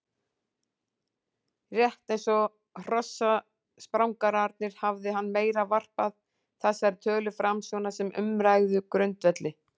Rétt eins og hrossaprangararnir hafði hann meira varpað þessari tölu fram svona sem umræðugrundvelli.